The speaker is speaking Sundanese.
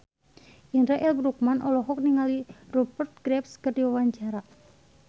Indra L. Bruggman olohok ningali Rupert Graves keur diwawancara